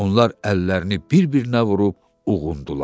Onlar əllərini bir-birinə vurub uğundular.